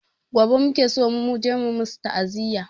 Gobe muke so muje mu musu ta'aziya